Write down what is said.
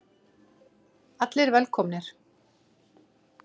Allir velkomnir.